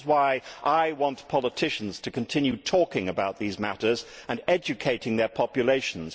That is why I want politicians to continue talking about these matters and educating their populations.